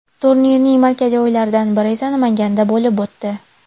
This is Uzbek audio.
Turning markaziy o‘yinlaridan biri esa Namanganda bo‘lib o‘tdi.